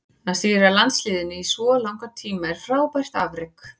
Að stýra landsliðinu í svo langan tíma er frábært afrek.